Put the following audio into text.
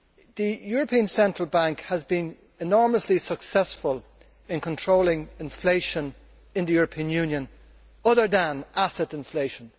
The European Central Bank has been enormously successful in controlling inflation in the European Union, other than asset inflation.